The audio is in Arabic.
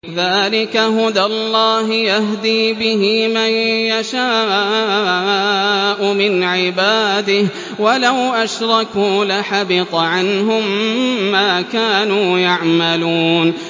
ذَٰلِكَ هُدَى اللَّهِ يَهْدِي بِهِ مَن يَشَاءُ مِنْ عِبَادِهِ ۚ وَلَوْ أَشْرَكُوا لَحَبِطَ عَنْهُم مَّا كَانُوا يَعْمَلُونَ